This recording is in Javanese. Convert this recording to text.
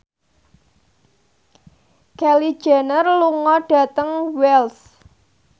Kylie Jenner lunga dhateng Wells